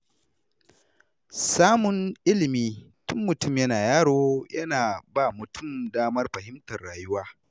Samun ilimi tun mutum yana yaro yana ba mutum damar fahimtar rayuwa.